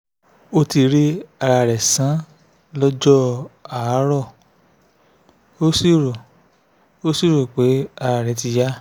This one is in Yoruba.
ó ti rí ara rẹ̀ sàn lọ́jọ́ àárò ó sì rò ó sì rò pé ara rẹ̀ ti yá